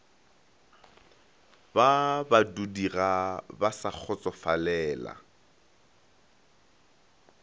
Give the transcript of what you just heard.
ba badudiga ba sa kgotsofalela